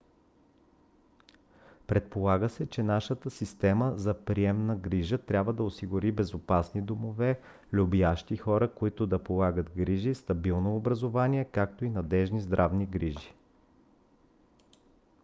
предполага се че нашата система за приемна грижа трябва да осигури безопасни домове любящи хора които да полагат грижи стабилно образование както и надеждни здравни грижи